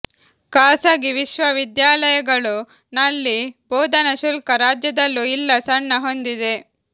ಖಾಸಗಿ ವಿಶ್ವವಿದ್ಯಾಲಯಗಳು ನಲ್ಲಿ ಬೋಧನಾ ಶುಲ್ಕ ರಾಜ್ಯದಲ್ಲೂ ಇಲ್ಲ ಸಣ್ಣ ಹೊಂದಿದೆ